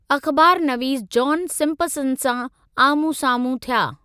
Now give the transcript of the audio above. अख़बार नवीस John Simpson सां आम्हूं साम्हूं थिया।